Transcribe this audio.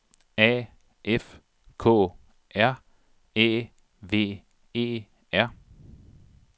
A F K R Æ V E R